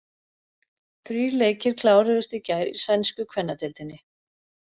Þrír leikir kláruðust í gær í sænsku kvennadeildinni.